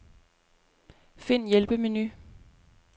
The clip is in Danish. Find hjælpemenu.